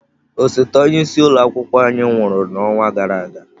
Osote onye isi ụlọ akwụkwọ anyị nwụrụ n'ọnwa gara aga.